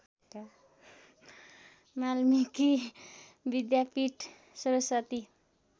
Valmiki Vidyapith Saraswati